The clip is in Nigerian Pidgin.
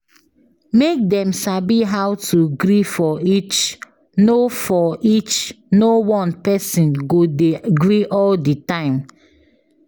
Make dem sabi how to gree for each no for each no one person go de gree all di time